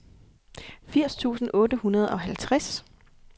firs tusind otte hundrede og halvtreds